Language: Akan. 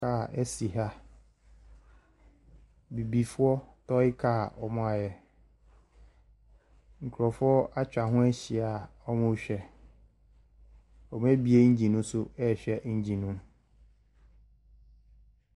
Kar esi ha bibifoɔ tɔy kar ɔmo ayɛ nkorɔfoɔ etwa ɛho ehyia ɔmo hwɛ ɔmo ebie ɛngyin no so a hwɛ ɛngyin no mu.